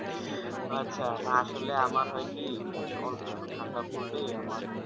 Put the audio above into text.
আচ্ছা না আসলে আমার হয় কি ধরেন অল্প একটু ঠান্ডা পড়লেই আমার